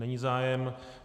Není zájem.